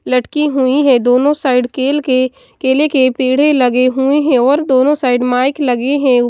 लटकी हुई है दोनों साइड केल के केले के पेड़े लगे हुए हैं और दोनों साइड माइक लगे हैं।